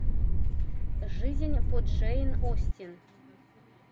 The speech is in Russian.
жизнь по джейн остин